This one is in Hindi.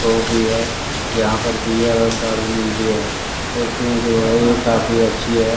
तो भी है यहां पर बीयर और दारू मिलती है कुर्सियां जो है ये काफी अच्छी है।